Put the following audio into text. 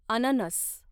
अननस